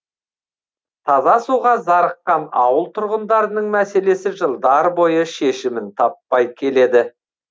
таза суға зарыққан ауыл тұрғындарының мәселесі жылдар бойы шешімін таппай келеді